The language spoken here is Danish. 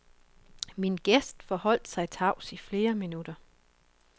Min gæst forholdt sig tavs i flere minutter.